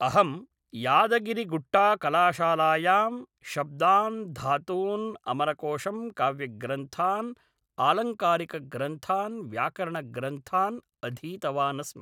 अहं यादगिरीगुट्टा कलाशालायां शब्दान् धातून् अमरकोषं काव्यग्रन्थान् आलङ्कारिकग्रन्थान् व्याकरणग्रन्थान् अधीतवानस्मि